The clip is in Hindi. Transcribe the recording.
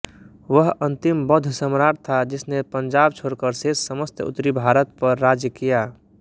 वह अंतिम बौद्ध सम्राट् था जिसने पंजाब छोड़कर शेष समस्त उत्तरी भारत पर राज्य किया